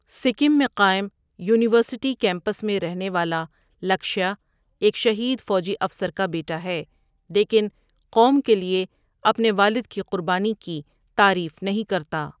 سکم میں قائم university campus میں رہنے ولا لکشیا ایک شہید فوجی افسر کا بیٹا ہے لیکن قوم کے لیے اپنے والد کی قربانی کی تعریف نہیں کرتا۔